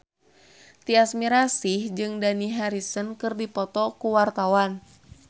Tyas Mirasih jeung Dani Harrison keur dipoto ku wartawan